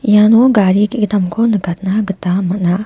iano gari gegittamko nikatna gita man·a.